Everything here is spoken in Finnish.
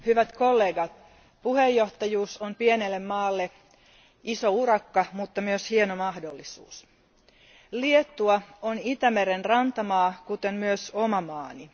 Arvoisa puhemies, hyvät kollegat, puheenjohtajuus on pienelle maalle iso urakka, mutta myös hieno mahdollisuus. Liettua on Itämeren rantamaa, kuten myös oma maani.